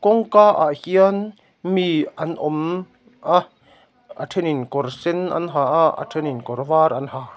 kawngkaah hian mi an awm a a thenin kawr sen an ha a a thenin kawr vat an ha--